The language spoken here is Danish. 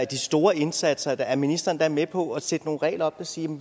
de store indsatser er ministeren da med på at sætte nogle regler op der siger